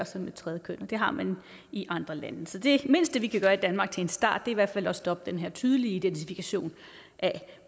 som et tredje køn og det har man i andre lande så det mindste vi kan gøre i danmark til en start er i hvert fald at stoppe den her tydelige identifikation af